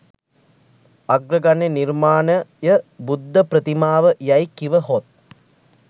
අග්‍රගණ්‍ය නිර්මාණය බුද්ධ ප්‍රතිමාව යැයි කිවහොත්